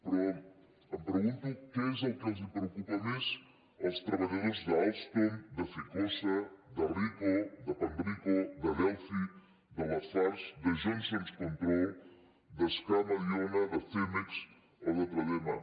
però em pregunto què és el que els preocupa més als treballadors d’alstom de ficosa de panrico de delphi de lafargue de johnson control de sca mediona de cemex o de tradema